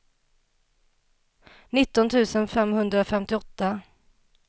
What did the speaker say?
nitton tusen femhundrafemtioåtta